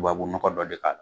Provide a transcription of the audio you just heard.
Tubabu nɔgɔ dɔ de k'a la.